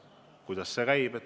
Kuidas see käib?